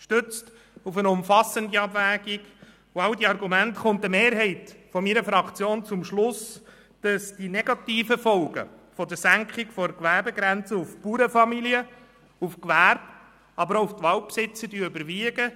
Gestützt auf eine umfassende Abwägung und all diese Argumente kommt eine Mehrheit der BDPFraktion zum Schluss, dass die negativen Folgen einer Senkung der Gewerbegrenze auf Bauernfamilien, auf Gewerbe, aber auch auf die Waldbesitzer überwiegen.